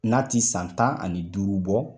N'a ti san tan ani duuru bɔ.